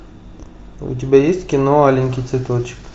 у тебя есть кино аленький цветочек